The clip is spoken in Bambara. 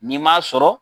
N'i m'a sɔrɔ